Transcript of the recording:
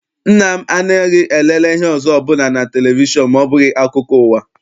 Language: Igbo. Nna m anaghị elele ihe ọzọ ọbụla na televishọn ma ọ bụghị akụkọ ụwa.